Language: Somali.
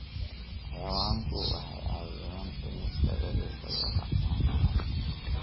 Xayawaanku waxay caawiyaan dhimista welwelka iyo kacsanaanta.